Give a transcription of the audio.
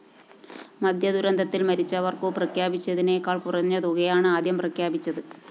മദ്യദുരന്തത്തില്‍ മരിച്ചവര്‍ക്കു പ്രഖ്യാപിച്ചതിനേക്കാള്‍ കുറഞ്ഞതുകയാണ് ആദ്യം പ്രഖ്യാപിച്ചത്